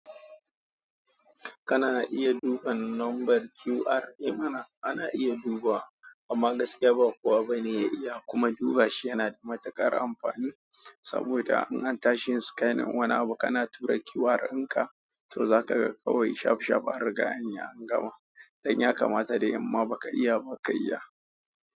Kana iya duban nombar QR, eh mana ana iya dubawa amma gaskiya ba kowa bane ya iya kuma duba shi. Yana da matuƙar amfani saboda in an tashi scanning wannan abu kana tura QR in ka to za ka ga kawai shaf shaf a riga an gama. Dan ya kamata dai imma baka iya ba ka iya.